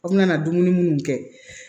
A bina na dumuni munnu kɛ